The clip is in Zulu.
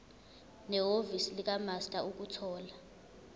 nehhovisi likamaster ukuthola